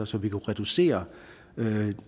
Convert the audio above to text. så vi kunne reducere